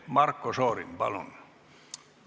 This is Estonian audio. Marko Šorin, palun!